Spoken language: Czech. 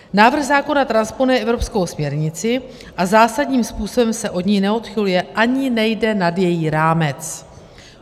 Návrh zákona transponuje evropskou směrnici a zásadním způsobem se od ní neodchyluje ani nejde nad její rámec.